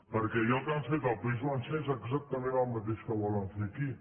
perquè allò que han fet al país valencià és exactament el mateix que volen fer aquí